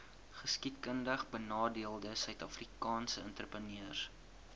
geskiedkundigbenadeelde suidafrikaanse entrepreneurs